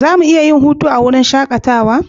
Za mu iya yin hutunmu a wurin shakatawa?